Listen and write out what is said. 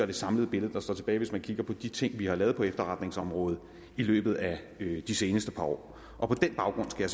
det samlede billede der står tilbage hvis man kigger på de ting vi har lavet på efterretningsområdet i løbet af de seneste par år på den baggrund skal